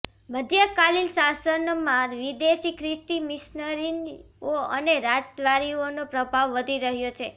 મધ્યકાલીન શાસનમાં વિદેશી ખ્રિસ્તી મિશનરીઓ અને રાજદ્વારીઓનો પ્રભાવ વધી રહ્યો છે